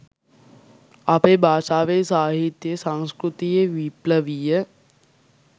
අපේ භාෂාවේ සාහිත්‍යයේ සංස්කෘතියේ විප්ලවීය